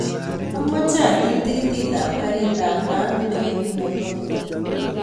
Amoche atil tikitit ap karit ap maat newendi nairobi